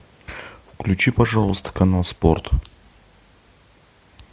включи пожалуйста канал спорт